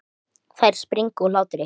Ég skal hjálpa til.